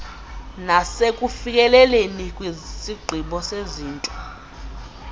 nasekufikeleleni kwisigqibo sezinto